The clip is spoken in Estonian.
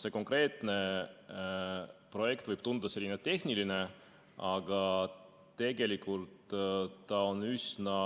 See konkreetne projekt võib tunduda selline tehniline, aga tegelikult see on üsna